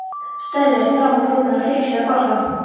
Hann staulaðist fram úr rúminu og fékk sér að borða.